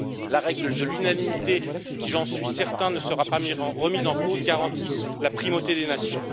La règle de l'unanimité qui, j'en suis certain, ne sera pas remise en cause, garantit la primauté des nations.